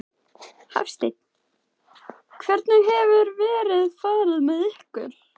Hafsteinn: Hvernig hefur veðrið farið með ykkur?